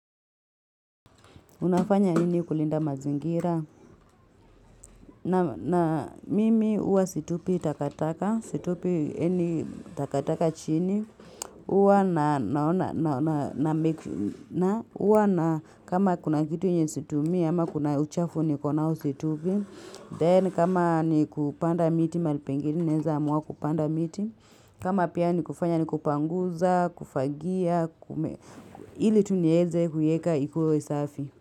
Unafanya nini kulinda mazingira, na mimi huwa situpi takataka, situpi any takataka chini, huwa na, naona, na, na, huwa na, kama kuna kitu yenye situmii, ama kuna uchafu niko nao situpi, then kama ni kupanda miti, malipengine, naeza mwa kupanda miti, kama pia ni kufanya ni kupanguza, kufagia, kume, ili tu nieze kuiyeka ikuwe safi.